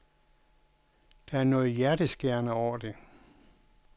Der er noget hjerteskærende over det.